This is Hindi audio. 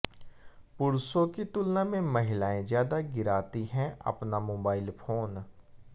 पुरुषों की तुलना में महिलाएं ज्यादा गिराती हैं अपना मोबाइल फोन